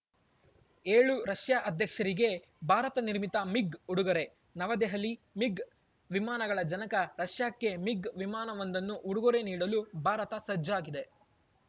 ಏಳು ರಷ್ಯಾ ಅಧ್ಯಕ್ಷರಿಗೇ ಭಾರತನಿರ್ಮಿತ ಮಿಗ್‌ ಉಡುಗೊರೆ ನವದೆಹಲಿ ಮಿಗ್‌ ವಿಮಾನಗಳ ಜನಕ ರಷ್ಯಾಕ್ಕೇ ಮಿಗ್‌ ವಿಮಾನವೊಂದನ್ನು ಉಡುಗೊರೆ ನೀಡಲು ಭಾರತ ಸಜ್ಜಾಗಿದೆ